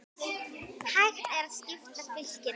Hægt er að skipta fylkinu